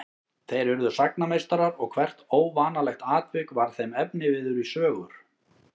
Þeir urðu sagnameistarar og hvert óvanalegt atvik varð þeim efniviður í sögur.